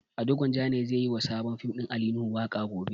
Ado Gwanjan ne zai yi wa sabon fim ɗin Ali Nuhu waƙa gobe.